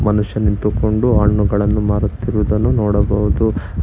ಮನುಷ್ಯ ನಿಂತುಕೊಂಡು ಹಣ್ಣುಗಳನ್ನು ಮಾರುತಿರುವುದನ್ನು ನೋಡಬಹುದು.